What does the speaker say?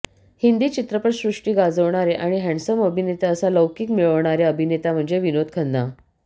हिंदी चित्रपटसृष्टी गाजवणारे आणि हॅडसम अभिनेते असा लौकिक मिळवणारे अभिनेता म्हणजे विनोद खन्ना